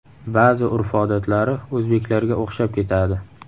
Ba’zi urf-odatlari o‘zbeklarga o‘xshab ketadi.